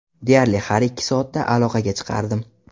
Deyarli har ikki soatda aloqaga chiqardim.